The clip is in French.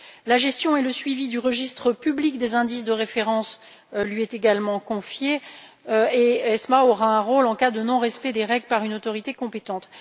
La gestion et le suivi du registre public des indices de référence lui sont également confiés, et ESMA aura un rôle en cas de non respect des règles par une autorité compétente.